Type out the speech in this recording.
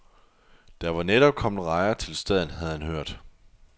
Der var netop kommet rejer til staden, havde han hørt.